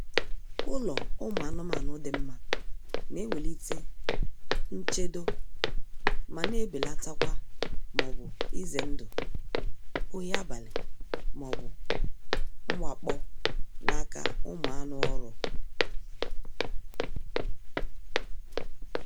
Ụlọ ụmụ anụmanụ dị mma na-ewelite nchedo ma na-ebelatakwa maọbụ ize ndụ ohi abalị maọbu mwakpo n'aka ụmụ anụ oru